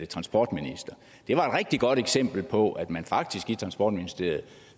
transportminister det var et rigtig godt eksempel på at man faktisk i transportministeriet